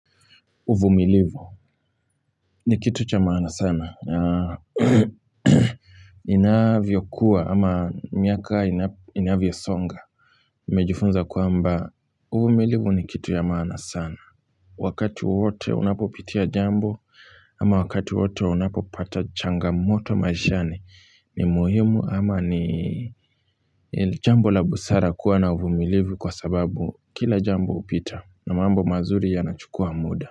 Uvumilivu ni kitu cha maana sana. Inavyo kuwa ama miaka inavyo songa. Nimehifunza kwamba uvumilivu ni kitu ya maana sana. Wakati wowote unapopitia jambo ama wakati wowote unapopata changa moto maishani ni muhimu ama ni jambo la busara kuwa na uvumilivu kwa sababu kila jambo hupita na mambo mazuri ya nachukua muda.